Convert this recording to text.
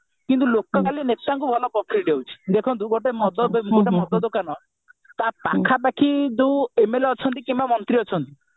କିନ୍ତୁ ଲୋକ ନେତାଙ୍କୁ ଭଲ profit ହେଉଛି ଦେଖନ୍ତୁ ଗୋଟେ ମଦ ଦୋକାନ ତା ପାଖାପାଖି ଯୋଉ MLA ଅଛନ୍ତି କିମ୍ବା ମନ୍ତ୍ରୀ ଅଛନ୍ତି